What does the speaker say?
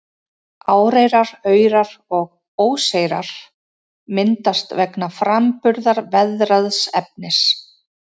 Áreyrar, aurar og óseyrar myndast vegna framburðar veðraðs efnis.